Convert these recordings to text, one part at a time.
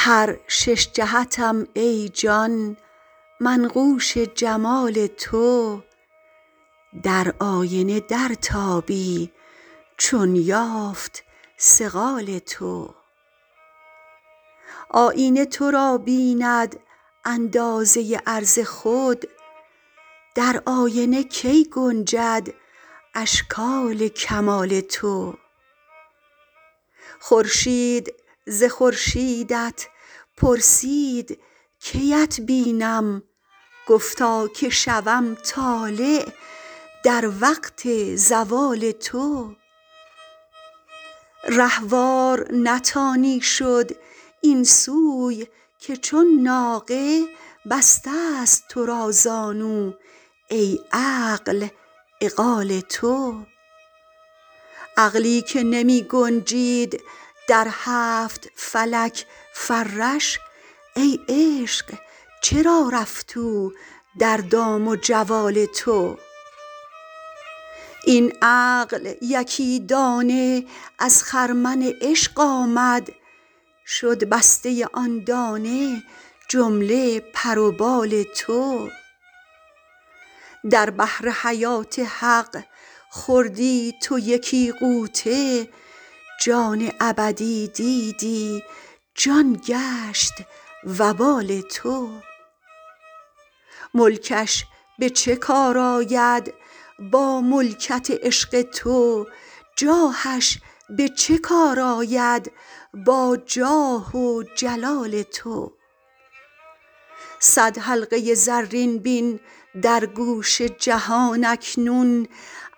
هر شش جهتم ای جان منقوش جمال تو در آینه درتابی چون یافت صقال تو آیینه تو را بیند اندازه عرض خود در آینه کی گنجد اشکال کمال تو خورشید ز خورشیدت پرسید کی ات بینم گفتا که شوم طالع در وقت زوال تو رهوار نتانی شد این سوی که چون ناقه بسته ست تو را زانو ای عقل عقال تو عقلی که نمی گنجد در هفت فلک فرش ای عشق چرا رفت او در دام و جوال تو این عقل یکی دانه از خرمن عشق آمد شد بسته ی آن دانه جمله پر و بال تو در بحر حیات حق خوردی تو یکی غوطه جان ابدی دیدی جان گشت وبال تو ملکش به چه کار آید با ملکت عشق تو جاهش به چه کار آید با جاه و جلال تو صد حلقه زرین بین در گوش جهان اکنون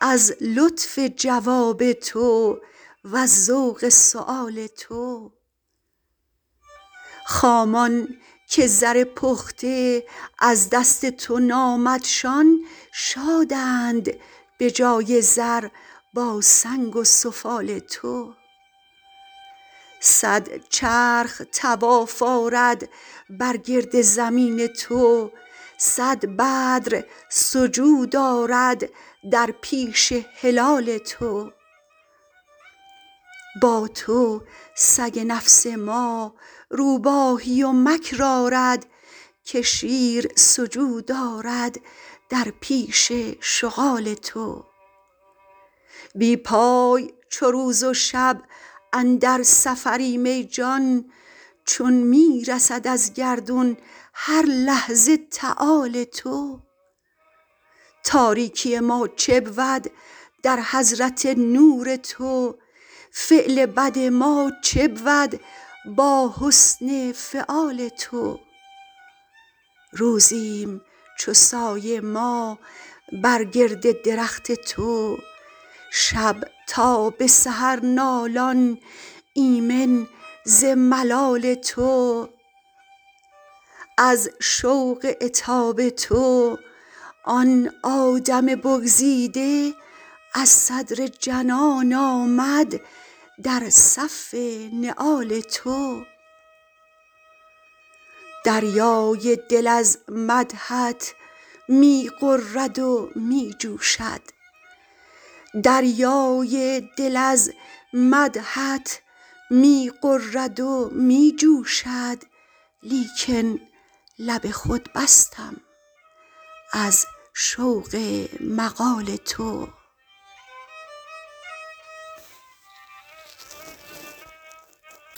از لطف جواب تو وز ذوق سؤال تو خامان که زر پخته از دست تو نامدشان شادند به جای زر با سنگ و سفال تو صد چرخ طواف آرد بر گرد زمین تو صد بدر سجود آرد در پیش هلال تو با تو سگ نفس ما روباهی و مکر آرد که شیر سجود آرد در پیش شغال تو بی پای چو روز و شب اندر سفریم ای جان چون می رسد از گردون هر لحظه تعال تو تاریکی ما چه بود در حضرت نور تو فعل بد ما چه بود با حسن فعال تو روزیم چو سایه ما بر گرد درخت تو شب تا به سحر نالان ایمن ز ملال تو از شوق عتاب تو آن آدم بگزیده از صدر جنان آمد در صف نعال تو دریای دل از مدحت می غرد و می جوشد لیکن لب خود بستم از شوق مقال تو